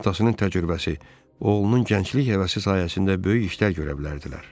Atasının təcrübəsi, oğlunun gənclik həvəsi sayəsində böyük işlər görə bilərdilər.